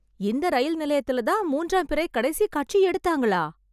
இந்த ரயில் நிலையத்துல தான் மூன்றாம் பிறை கடைசிக் காட்சி எடுத்தாங்களா?